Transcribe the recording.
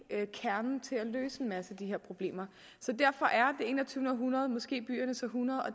nøglen til at løse en masse af de her problemer så derfor er enogtyvende århundrede måske byernes århundrede og